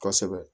Kosɛbɛ